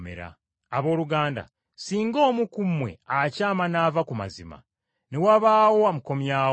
Abooluganda, singa omu ku mmwe akyama n’ava ku mazima, ne wabaawo amukomyawo,